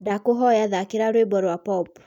ndakũhoya thakĩra rwĩmbo rwa pop